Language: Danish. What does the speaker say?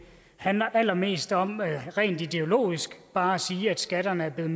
handler allermest om rent ideologisk bare at sige at skatterne er blevet